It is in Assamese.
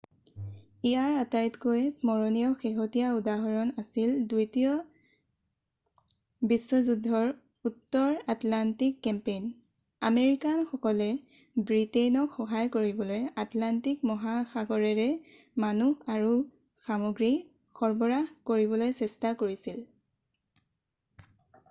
ইয়াৰ আটাইতকৈ স্মৰণীয় শেহতীয়া উদাহৰণ আছিল দ্বিতীয় বিশ্বযুদ্ধৰ উত্তৰ আটলাণ্টিক কেম্পেইন আমেৰিকানসকলে ব্ৰিটেইনক সহায় কৰিবলৈ আটলাণ্টিক মহাসাগৰেৰে মানুহ আৰু সামগ্ৰী সৰবৰাহ কৰিবলৈ চেষ্টা কৰিছিল